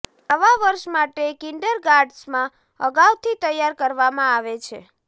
નવા વર્ષ માટે કિન્ડરગાર્ટન્સમાં અગાઉથી તૈયાર કરવામાં આવે છે